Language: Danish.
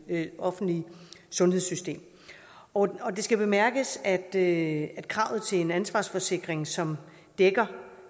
i det offentlige sundhedssystem og det skal bemærkes at at kravet til en ansvarsforsikring som dækker